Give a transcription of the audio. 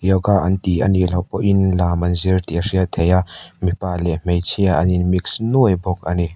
yoga an ti anih loh pawhin lam an zir tih a hriat theih a mipa leh hmeichhia an in mix nuai bawk ani.